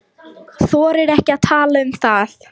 Þorir ekki að tala um það.